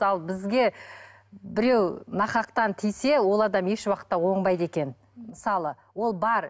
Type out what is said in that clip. ал бізге біреу нақақтан тиіссе ол адам ешуақытта оңбайды екен мысалы ол бар